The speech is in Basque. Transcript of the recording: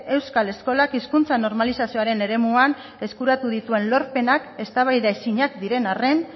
euskal eskolak hizkuntza normalizazioaren eremuan eskuratu dituen lorpenak eztabaidaezinak diren arren